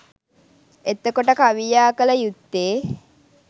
එතකොට කවියා කළ යුත්තේ